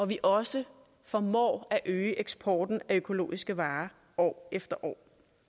vi også formår at øge eksporten af økologiske varer år efter år